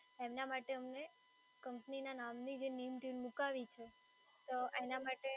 એમના માટે અમને કંપનીના નામની જે મેઈન ટયુન મૂકવી છે